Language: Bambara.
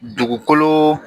Dugukolo